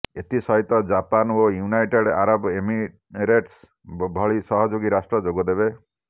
ଏଥିସହିତ ଜାପାନ ଓ United Arab Emirates ଭଳି ସହଯୋଗୀ ରାଷ୍ଟ୍ର ଯୋଗଦେବେ